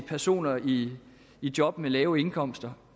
personer i job med lave indkomster